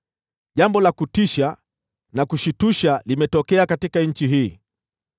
“Jambo la kutisha na kushtusha limetokea katika nchi hii: